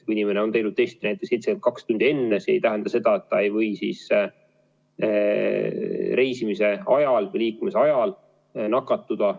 Kui inimene on teinud testi näiteks 72 tundi enne, see ei tähenda seda, et ta ei või reisimise ajal nakatuda.